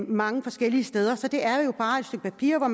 mange forskellige steder for det er jo bare et stykke papir hvor